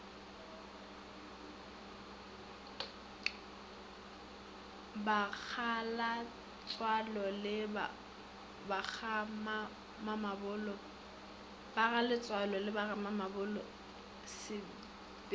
bagaletsoalo le bagamamabolo se fepša